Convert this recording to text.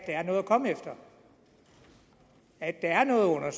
er noget at komme efter at der er noget at